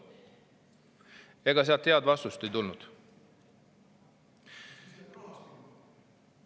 Ega head vastust ei tulnud.